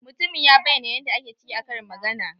Mutumin ya bayyana yan da ake ciki a karin magana.